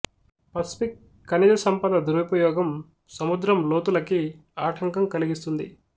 Pacific ఖనిజ సంపద దురుపయోగం సముద్రం లోతులకి ఆటంకం కలిగిస్తుంది